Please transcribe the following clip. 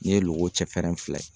N'i ye logo cɛfɛrɛn fila ye